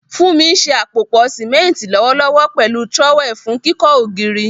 Funmi ń ṣe àpòpọ̀ símẹ́ńtì lọ́wọ́lọ́wọ́ pẹ̀lú trowel fún kíkọ́ ògiri.